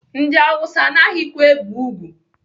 Ndị Awụsa anaghịkwa ebe ùgwù.